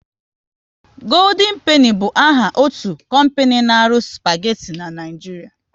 Goodien Peni bụ áhà otu kompani n'aru spageti n'Naijiria